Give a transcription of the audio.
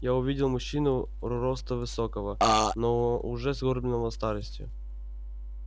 я увидел мужчину росту высокого но уже сгорбленного старостию